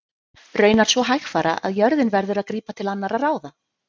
hvernig verður veðurhorfur við faxaflóa